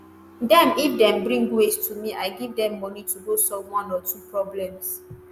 dem if dem bring waste to me i give dem money to go solve one or two problems.”